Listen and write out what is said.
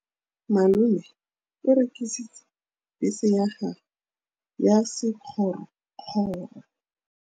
Malome o rekisitse bese ya gagwe ya sekgorokgoro.